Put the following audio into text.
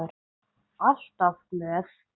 Alltaf glöð.